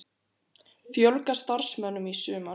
Fjölga starfsmönnum í sumar